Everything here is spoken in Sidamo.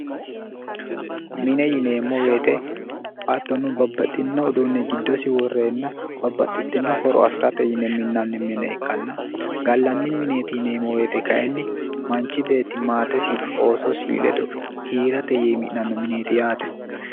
Mine yineemo woyite hattono babbaxxino uduunne giddosi worreenna babbaxxitino horo afirate yine minnanni mine ikkanna gallanni mineeti yineemmohuwoyiite kayiinni manchi beeti maatesi oososi ledo heerate yee mi'nanno mineeti yaate